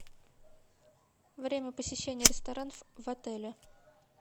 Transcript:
время посещения ресторанов в отеле